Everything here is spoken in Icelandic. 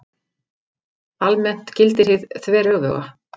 Almennt gildir hið þveröfuga.